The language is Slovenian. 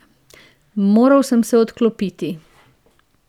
Moral sem se odklopiti.